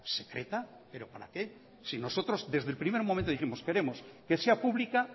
secreta pero para qué si nosotros desde el primer momento dijimos queremos que sea pública